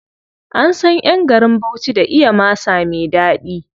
An san ƴan garin Bauchi da iya masa me ɗaɗi.